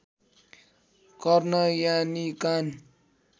कर्ण यानि कान